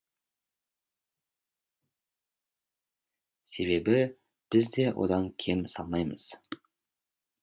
себебі біз де одан кем салмаймыз